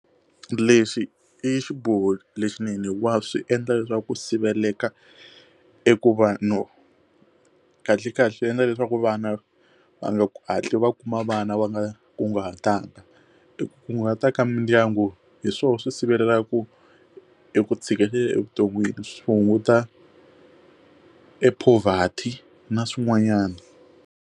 Lexi i xiboho lexinene wa swi endla leswaku ku siveleka eku vanhu kahle kahle swi endla leswaku vana va nga hatli va kuma vana va nga kunguhatiwanga. I kunguhata ka mindyangu hi swona swi sivelela ku eku tshikelela evuton'wini swi hunguta e poverty na swin'wanyana.